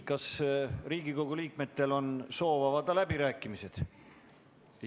Kas Riigikogu liikmetel on soovi avada läbirääkimised?